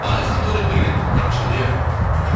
айқын төлепберген таңғы шоуда иә